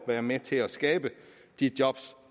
være med til at skabe de job